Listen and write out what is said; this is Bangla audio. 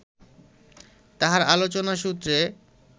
তাঁহার আলোচনা সূত্রে